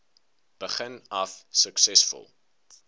begin af suksesvol